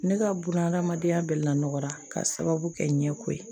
Ne ka buna hadamadenya bɛɛ lanɔgɔra k'a sababu kɛ ɲɛko ye